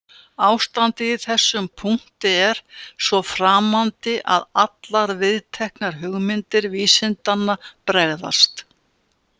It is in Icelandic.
Ástandið í þessum punkti er svo framandi að allar viðteknar hugmyndir vísindanna bregðast.